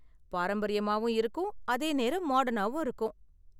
பாரம்பரியமாகவும் இருக்கும், அதே நேரம் மாடர்னாவும் இருக்கும்.